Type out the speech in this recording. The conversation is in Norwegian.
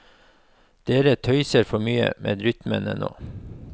Dere tøyser for mye med rytmene nå.